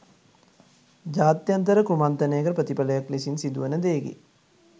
ජාත්‍යන්තර කුමන්ත්‍රණයක ප්‍රතිඵලයක් ලෙසින් සිදුවන දෙයකි.